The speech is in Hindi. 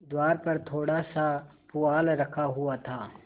द्वार पर थोड़ासा पुआल रखा हुआ था